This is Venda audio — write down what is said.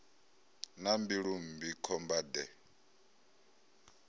na mbilu mmbi khomba de